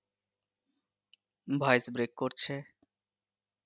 voice break করছে.